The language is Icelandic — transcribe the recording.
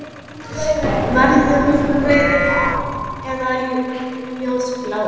Verður hún rauð eða ljósblá?